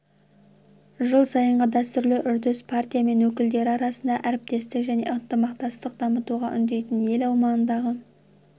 жыл сайынғы дәстүрлі үрдіс партия мен өкілдері арасында әріптестік пен ынтымақтастықты дамытуға үндейтін ел аумағындағы